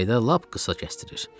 Yayda lap qısa kəsdirir.